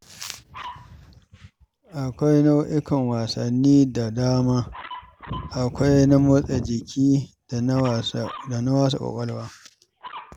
Akwai nau'ikan wasanni da dama, akwai na motsa jiki da na wasa ƙwaƙwalwa.